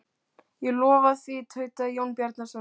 Ég lofa því, tautaði Jón Bjarnason.